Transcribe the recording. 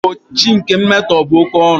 Mgbochi nke mmetọ bụ oke ọrụ